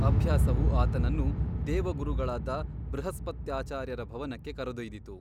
ಅಭ್ಯಾಸವು ಆತನನ್ನು ದೇವಗುರುಗಳಾದ ಬೃಹಸ್ಪತ್ಯಾಚಾರ್ಯರ ಭವನಕ್ಕೆ ಕರೆದೊಯ್ದಿತು.